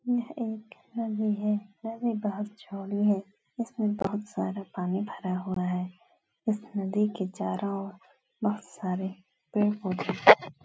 यह एक नदी है। नदी बहुत चौड़ी है। इसमें बहुत सारा पानी भरा हुआ है। इस नदी के चारो ओर बहुत सारे पेड़ पौधे भी लगे --